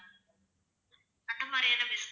அந்த மாதிரியான biscuits